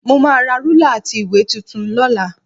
Mo máa ra rúlà àti ìwé tuntun lọ́la